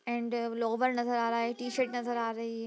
and lower नजर आ रहा है टी-शर्ट नजर आ रही --